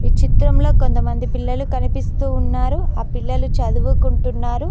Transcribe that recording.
చిత్రంలో కొంతమంది పిల్లలు కనిపిస్తూ ఉన్నారు ఆ పిల్లలు చదువుకుంటున్నారు.